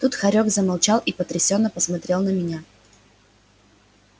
тут хорёк замолчал и потрясённо посмотрел на меня